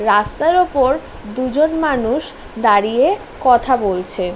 রাস্তার ওপর দুজন মানুষ দাঁড়িয়ে কথা বলছে ।